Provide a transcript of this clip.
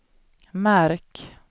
märk